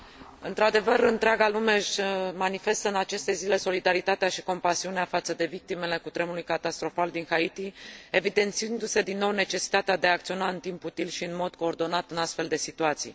Într adevăr, întreaga lume își manifestă în aceste zile solidaritatea și compasiunea față de victimele cutremurului catastrofal din Haiti, evidențiindu se din nou necesitatea de a acționa în timp util și în mod coordonat în astfel de situații.